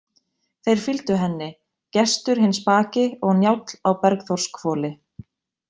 Þeir fylgdu henni, Gestur hinn spaki og Njáll á Bergþórshvoli.